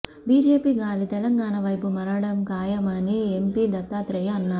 BJP గాలి తెలంగాణ వైపు మరలడం ఖాయమని ఎంపీ దత్తాత్రేయ అన్నారు